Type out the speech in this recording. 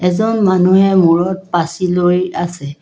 এজন মানুহে মূৰত পাছি লৈ আছে।